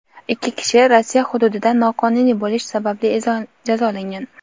ikki kishi Rossiya hududida noqonuniy bo‘lish sababli jazolangan.